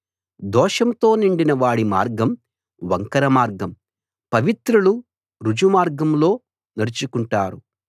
దోషంతో నిండిన వాడి మార్గం వంకర మార్గం పవిత్రులు రుజుమార్గంలో నడుచుకుంటారు